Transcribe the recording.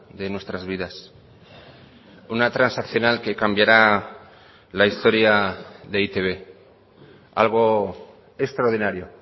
de nuestras vidas una transaccional que cambiará la historia de e i te be algo extraordinario